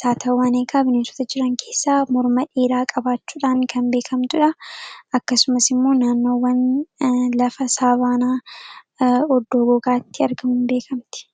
saatawwaan eegaa bineensota jiran keessaa morma dheeraa qabaachuudhaan kan beekamtuudha akkasumas immoo naamnoowwan lafa saavaanaa oddoo gogaatti argamuuin beekamte